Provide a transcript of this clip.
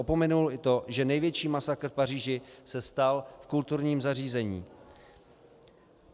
Opomenul i to, že největší masakr v Paříži se stal v kulturním zařízení.